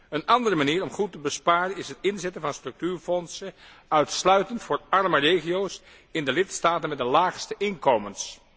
Een andere manier om goed te besparen is het inzetten van structuurfondsen uitsluitend voor arme regio's in de lidstaten met de laagste inkomens.